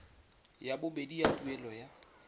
ya bobedi ya tuelo ya